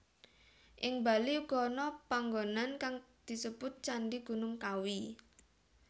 Ing Bali uga ana panggonan kang disebut Candhi Gunung Kawi